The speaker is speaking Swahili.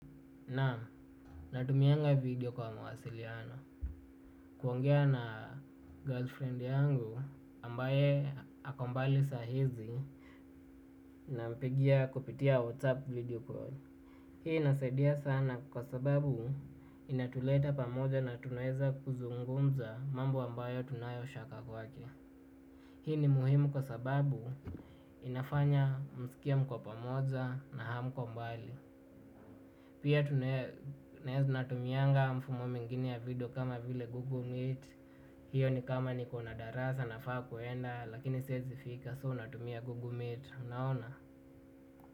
Nam natumianga video kwa mawasiliano. Kuongea na girlfriend yangu ambaye akombali sahizi na mpigia kupitia WhatsApp video call. Hii inasaidia sana kwa sababu inatuleta pamoja na tunaeza kuzungumza mambo ambayo tunayo shaka kwake. Hii ni muhimu kwa sababu inafanya musikie mko pamoja na hamko mbali. Pia tunaeza natumianga mfumo mengine ya video kama vile Google Meet. Hiyo ni kama ni kona darasa na faa kuenda lakini siezi fika soo natumia Google Meet. Unaona?